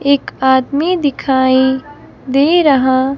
एक आदमी दिखाई दे रहा--